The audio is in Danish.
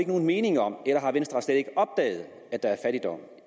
nogen mening om eller har venstre slet ikke opdaget at der er fattigdom